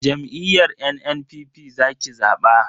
Jam'iyyar NNPP za ki zaba.